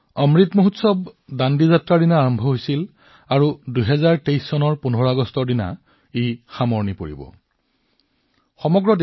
অমৃত উৎসৱ দাণ্ডী যাত্ৰাৰ দিনৰ পৰা আৰম্ভ হৈছিল আৰু ২০২৩ চনৰ ১৫ আগষ্টলৈকে চলি থাকিব